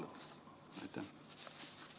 Aitäh!